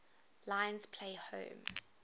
lions play home